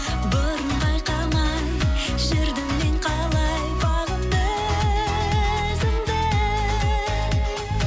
бұрын байқамай жүрдім мен қалай бағым өзіңді